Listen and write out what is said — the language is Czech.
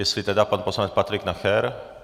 Jestli tedy pan poslanec Patrik Nacher.